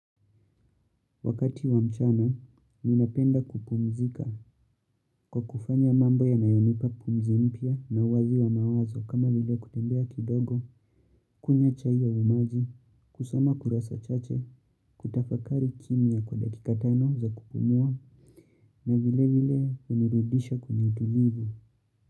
Wakati wa mchana, ninapenda kupumzika kwa kufanya mambo yanayonipa pumzi mpya na uwazi wa mawazo kama vile kutembea kidogo, kunywa chai ya umaji, kusoma kurasa chache, kutafakari kimya kwa dakika tano za kupumua na vile vile unirudisha kwenye utulivu.